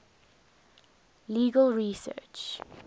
legal research